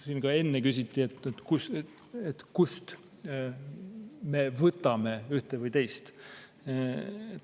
Siin ka enne küsiti, kust me võtame ühte või teist.